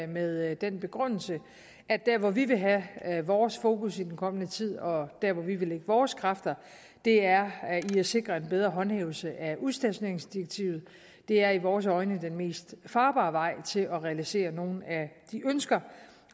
med den begrundelse at der hvor vi vil have have vores fokus i den kommende tid og der hvor vi vil lægge vores kræfter er i at sikre en bedre håndhævelse af udstationeringsdirektivet det er i vores øjne den mest farbare vej til at realisere nogle af de ønsker